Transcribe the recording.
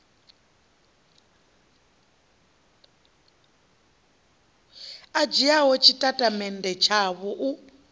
a dzhiaho tshitatamennde tshavho u